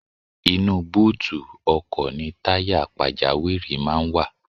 Inú búùtù ọkọ̀ ni táyà pàjáwìrì máa ń wà.